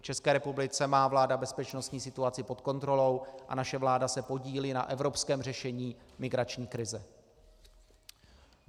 V České republice má vláda bezpečnostní situaci pod kontrolou a naše vláda se podílí na evropském řešení migrační krize.